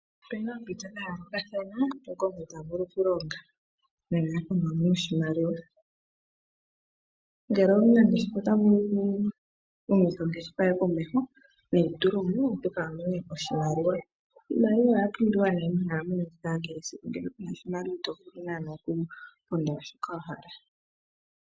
Opu na oompito dha yoolokathana moka omuntu ta vulu okulonga nenge okumona oshimaliwa. Ngele omunangeshefa ota vulu okuhumitha komeho ongeshefa ye neitule mo, a mone oshimaliwa. Oshimaliwa osha pumbiwa monkalamwenyo yetu ya kehe esiku, oshoka ngele ku na oshimaliwa ito vulu naanaa okupondola shoka wa hala.